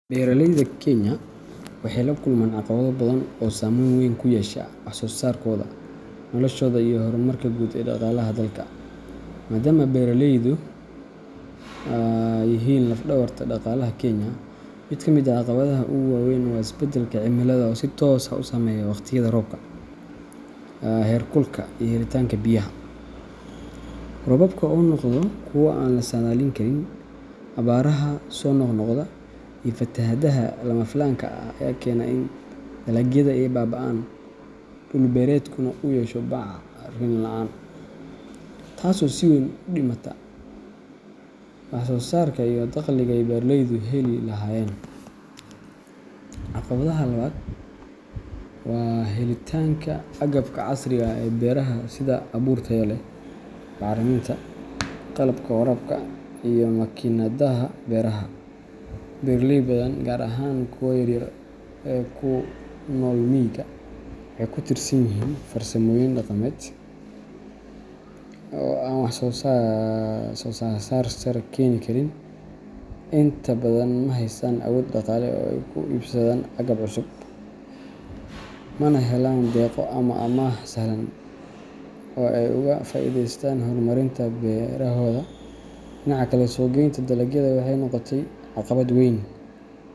Beeraleyda Kenya waxay la kulmaan caqabado badan oo saameyn weyn ku yeesha wax-soo-saarkooda, noloshooda, iyo horumarka guud ee dhaqaalaha dalka, maadaama beeralaydu yihiin laf-dhabarta dhaqaalaha Kenya. Mid ka mid ah caqabadaha ugu waa weyn waa isbeddelka cimilada oo si toos ah u saameeya wakhtiyada roobka, heer kulka, iyo helitaanka biyaha. Roobabka oo noqda kuwo aan la saadaalin karin, abaaraha soo noqnoqda, iyo fatahaadaha lama filaanka ah ayaa keena in dalagyada ay baaba’aan, dhul beereedkuna uu yeesho bacrin la’aan, taasoo si weyn u dhimata wax-soo-saarka iyo dakhligii ay beeraleydu heli lahaayeen. Caqabadda labaad waa helitaanka agabka casriga ah ee beeraha sida abuur tayo leh, bacriminta, qalabka waraabka, iyo makiinadaha beeraha. Beeraley badan, gaar ahaan kuwa yar-yar ee ku nool miyiga, waxay ku tiirsan yihiin farsamooyin dhaqameed oo aan wax-soo-saar sare keeni karin. Inta badan ma haystaan awood dhaqaale ay ku iibsadaan agab cusub, mana helaan deeqo ama amaah sahlan oo ay uga faa’iideystaan horumarinta beerahooda. Dhinaca kale, suuq-geynta dalagyada waxay noqotay caqabad weyn.